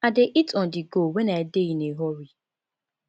i dey eat onthego when i dey in a hurry